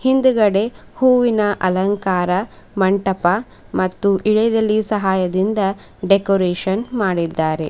ಹಿಂದ್ಗಡೆ ಹೂವಿನ ಅಲಂಕಾರ ಮಂಟಪ ಮತ್ತು ಇಳೆದೆಲೆ ಸಹಾಯದಿಂದ ಡೆಕೋರೇಷನ್ ಮಾಡಿದ್ದಾರೆ .